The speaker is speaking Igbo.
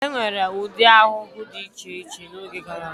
E nwere ụdị ahụhụ dị iche iche n'oge gara aga.